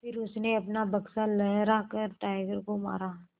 फिर उसने अपना बक्सा लहरा कर टाइगर को मारा